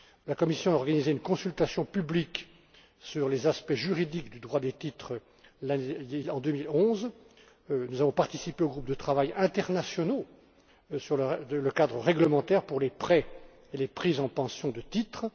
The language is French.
La Commission a organisé une consultation publique sur les aspects juridiques du droit des titres en 2011. Nous avons participé aux groupes de travail internationaux sur le cadre réglementaire pour les prêts et les prises en pension de titres.